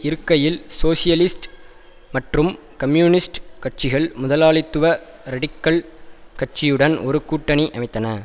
இருக்கையில் சோசியலிஸ்ட் மற்றும் கம்யூனிஸ்ட் கட்சிகள் முதலாளித்துவ ரடிக்கல் கட்சியுடன் ஒரு கூட்டணி அமைத்தன